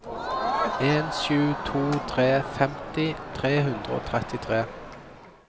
en sju to tre femti tre hundre og trettitre